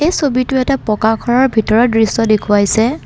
ছবিতো এটা পকা ঘৰৰ ভিতৰৰ দৃশ্য দেখুৱাইছে।